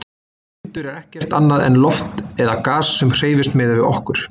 Vindur er ekkert annað en loft eða gas sem hreyfist miðað við okkur.